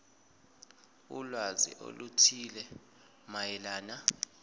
ulwazi oluthile mayelana